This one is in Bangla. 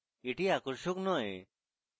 এটি আকর্ষক নয়